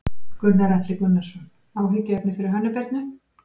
Gunnar Atli Gunnarsson: Áhyggjuefni fyrir Hönnu Birnu?